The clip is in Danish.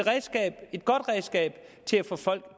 godt redskab til at få folk